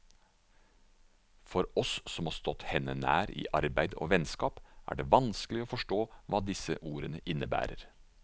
For oss som har stått henne nær i arbeid og vennskap, er det vanskelig å forstå hva disse ordene innebærer.